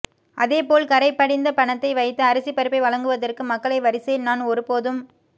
அதே போல் கறை படிந்த பணத்தை வைத்து அரிசி பருப்பை வழங்குவதற்கு மக்களை வரிசையில் நான் ஒரு போதும்